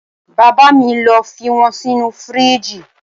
Bàbá mi lo fi wọn sinu firiji.